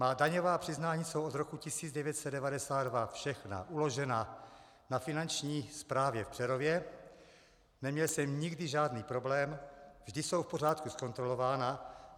Má daňová přiznání jsou od roku 1992 všechna uložena na Finanční správě v Přerově, neměl jsem nikdy žádný problém, vždy jsou v pořádku zkontrolována.